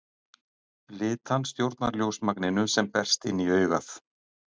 Litan stjórnar ljósmagninu sem berst inn í augað.